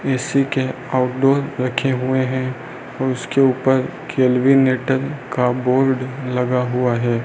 AC के outdoor रखे हुए हैं उसके ऊपर केल्विनेटर का बोर्ड लगा हुआ है।